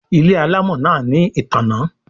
Ile alamò náa ní ìtanná